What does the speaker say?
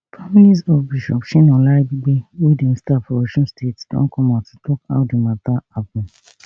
families of bishop shina olaribigbe wey dem stab for osun state don come out to tok how di mata happun